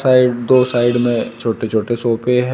Side दो side में छोटे छोटे सोफे हैं।